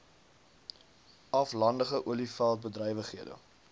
aflandige olieveld bedrywighede